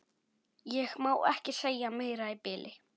Ég má ekki segja meira í bili.